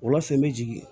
Wula fɛ n bɛ jigin